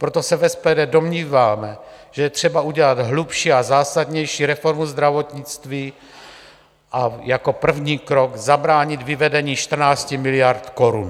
Proto se v SPD domníváme, že je třeba udělat hlubší a zásadnější reformu zdravotnictví a jako první krok zabránit vyvedení 14 miliard korun.